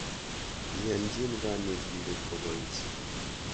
Iyanchin kanetindet ko pois.